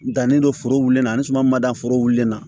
N dannen don foro wulili la ani suma ma da foro wulilen na